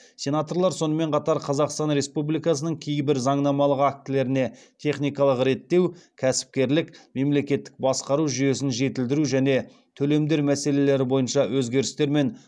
сенаторлар сонымен қатар қазақстан республикасының кейбір заңнамалық актілеріне техникалық реттеу кәсіпкерлік мемлекеттік басқару жүйесін жетілдіру және төлемдер мәселелері бойынша өзгерістер мен